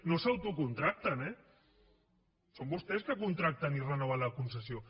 no s’autocontracten eh són vostès que contracten i renoven la concessió